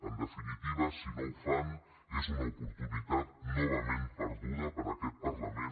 en definitiva si no ho fan és una oportunitat novament perduda per aquest parlament